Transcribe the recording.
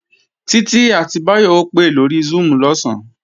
Títí àti Báyọ̀ ó pè lórí Zoom lọ̀sán